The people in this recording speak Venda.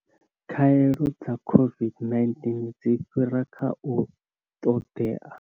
Khaelo dza COVID-19 dzi fhira kha u ṱoḓea.